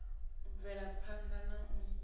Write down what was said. u bvela phana na u